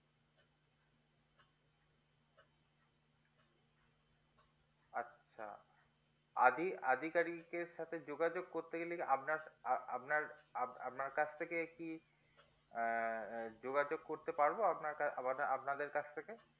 আদি আদিকারীকের সাথে যোগেযোগ করতে গেলে কি আপনার সা আপনার আপনার কাছ থেকে কি আহ যোগাযোগ করতে পারবো আপনার কা মানে আপনাদের কাছ থেকে